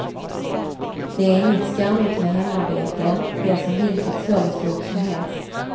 Det är inget skamligt med hemarbete, det är som vilket servicejobb som helst.